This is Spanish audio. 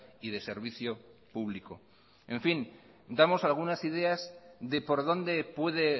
y de servicio público en fin damos algunas ideas de por dónde puede